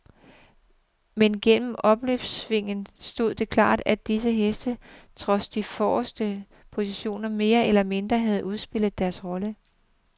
Men gennem opløbssvinget stod det klart, at disse heste trods de forreste positioner mere eller mindre havde udspillet deres roller.